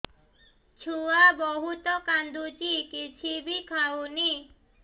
ଛୁଆ ବହୁତ୍ କାନ୍ଦୁଚି କିଛିବି ଖାଉନି